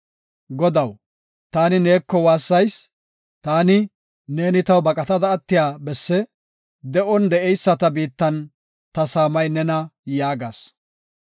Godaw, taani neeko waassayis; taani, “Ne taw baqatada attiya bessi; de7on de7eyisata biittan ta saamay nena” yaagas.